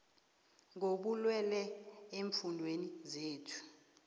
kobulwele eemfundeni zethu